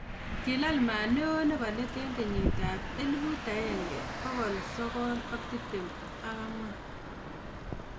kilal maa neo nebo leet eng 1924